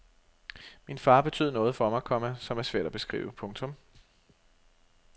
Min far betød noget for mig, komma som er svært at beskrive. punktum